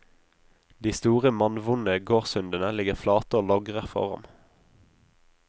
De store, mannvonde gårdshundene ligger flate og logrer for ham.